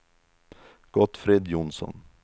Gottfrid Jonsson